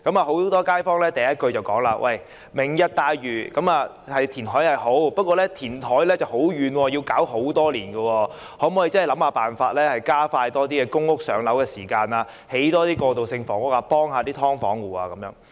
很多街坊第一句便是說："明日大嶼"的填海計劃是好，但地點偏遠，需要很多年時間，所以可否想辦法加快輪候公屋的時間，多興建過渡性房屋，幫助"劏房戶"？